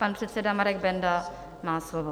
Pan předseda Marek Benda má slovo.